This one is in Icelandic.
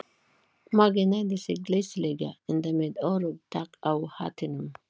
Maggi hneigði sig glæsilega, enda með öruggt tak á hattinum.